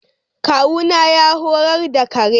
Kawuna ya horar da kare.